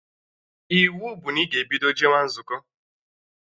Iwu bụ na ị ga-ebido jewa nzukọ!